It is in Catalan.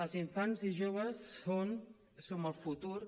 els infants i joves són som el futur